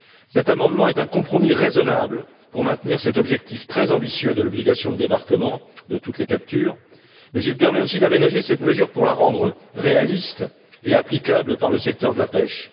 Cet amendement est un compromis raisonnable qui permet de maintenir cet objectif très ambitieux qu'est l'obligation de débarquement de toutes les captures, mais il permet aussi d'aménager cette mesure pour la rendre réaliste et applicable par le secteur de la pêche.